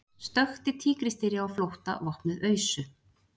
Stökkti tígrisdýri á flótta vopnuð ausu